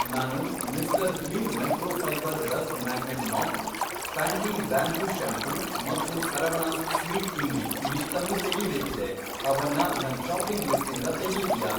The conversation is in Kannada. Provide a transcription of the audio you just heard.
ನಾನು Mr Gleam microfibre dust magnet mop , Pantene bamboo shampoo ಮತ್ತು ಸರವಣಾಸ್ ಸ್ವೀಟ್ ಇಮ್ಲಿ ಇವಿಷ್ಟನ್ನೂ ತೆಗೀಬೇಕಿದೆ, ಅವನ್ನ ನನ್ ಷಾಪಿಂಗ್ ಲಿಸ್ಟಿಂದ ತೆಗೀತೀಯಾ?